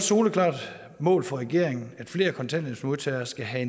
soleklart mål for regeringen at flere kontanthjælpsmodtagere skal have